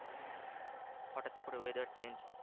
হটাৎ করে weather change